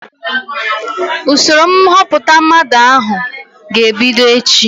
Usoro nhọpụta mmadụ ahụ ga-ebido echi